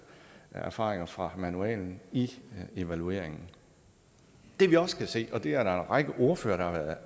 erfaringer fra manualen i evalueringen det vi også skal se og det er der en række ordførere